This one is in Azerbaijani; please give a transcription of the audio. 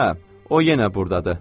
Hə, o yenə burdadır.